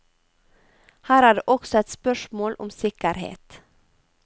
Her er det også et spørsmål om sikkerhet.